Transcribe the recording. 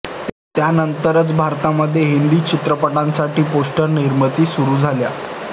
त्यानंतरच भारतामध्ये हिंदी चित्रपटांसाठीची पोस्टर निर्मिती सुरू झाली